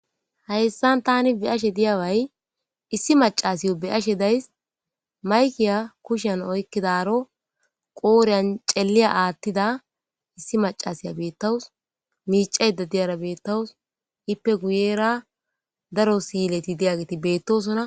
hayssan tani be ashe diyaway issi macasiy beyashe days maykiya kushen oykkidaro qooriyan celiya aathtida issi macasiya beettawus miicayda diyara beettawus ippe guyera daro siyileti diyageti beettosona